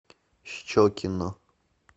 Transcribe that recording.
щекино